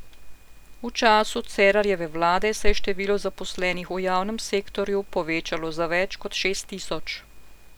V času Cerarjeve vlade se je število zaposlenih v javnem sektorju povečalo za več kot šest tisoč.